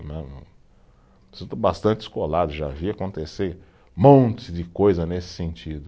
bastante, já vi acontecer um monte de coisa nesse sentido.